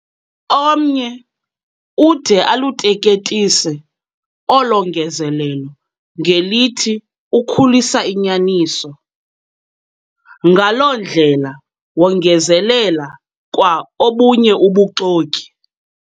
Omnye ude aluteketise olo ngezelelo ngelithi ukhulisa inyaniso. ngaloo ndlela wongezelela kwa obunye ubuxoki.